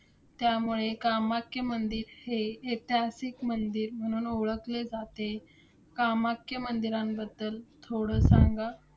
त्यामुळे कामाख्या मंदिर हे ऐतिहासिक मंदिर म्हणून ओळखले जाते. कामाख्या मंदिरांबद्दल थोडं सांगा?